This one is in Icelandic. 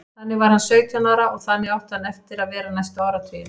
Þannig var hann sautján ára og þannig átti hann eftir að vera næstu áratugina.